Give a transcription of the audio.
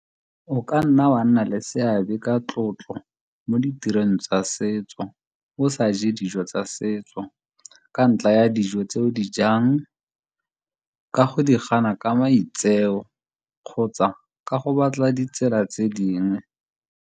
O ka nna wa nna le seabe ka tlotlo mo ditirong tsa setso o sa je dijo tsa setso ka ntlha ya dijo tse o di jang ka go di gana ka maitseo, kgotsa ka go batla ditsela tse dingwe.